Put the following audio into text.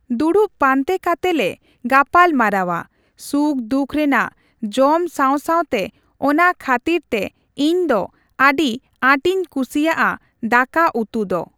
ᱫᱩᱲᱩᱵ ᱯᱟᱱᱛᱮ ᱠᱟᱛᱮᱞᱮ ᱜᱟᱯᱟᱞ ᱢᱟᱨᱟᱣᱟ᱾ ᱥᱩᱠᱼᱫᱩᱠ ᱨᱮᱱᱟᱜ ᱡᱚᱢ ᱥᱟᱣᱼᱥᱟᱣ ᱛᱮ ᱚᱱᱟ ᱠᱷᱟᱹᱛᱤᱨ ᱛᱮ ᱤᱧ ᱫᱚ ᱟᱹᱰᱤ ᱟᱸᱴᱤᱧ ᱠᱩᱥᱤᱭᱟᱜᱼᱟ ᱫᱟᱠᱟ ᱩᱛᱩ ᱫᱚ᱾